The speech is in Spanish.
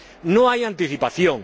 No hay anticipación.